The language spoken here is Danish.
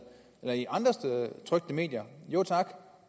eller i andre trykte medier jo tak